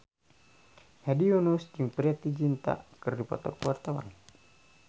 Hedi Yunus jeung Preity Zinta keur dipoto ku wartawan